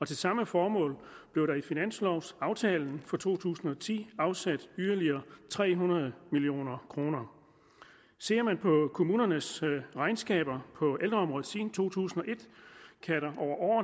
til samme formål blev der i finanslovaftalen for to tusind og ti afsat yderligere tre hundrede million kroner ser man på kommunernes regnskaber på ældreområdet siden to tusind